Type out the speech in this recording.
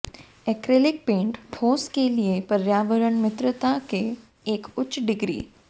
acrylic paint ठोस के लिए पर्यावरण मित्रता के एक उच्च डिग्री